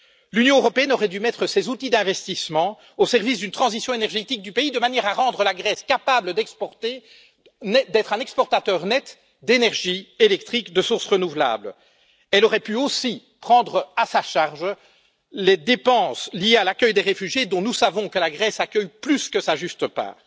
L'Union européenne aurait dû mettre ses outils d'investissement au service d'une transition énergétique du pays de manière à rendre la Grèce capable d'être un exportateur net d'énergie électrique de sources renouvelables. Elle aurait pu aussi prendre à sa charge les dépenses liées à l'accueil des réfugiés, dont nous savons que la Grèce accueille plus que sa juste part.